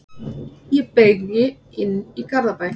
Ég beygi inn í Garðabæ.